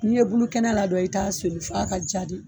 N'i ye bulukɛnɛ ladɔn i t'a soli fɔ a ka ja de